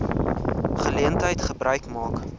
geleentheid gebruik maak